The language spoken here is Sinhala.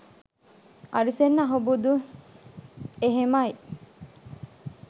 අරිසෙන් අහුබුදුත් එහෙමයි